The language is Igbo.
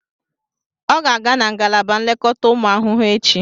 Ọ ga-aga na ngalaba nlekọta ụmụ ahụhụ echi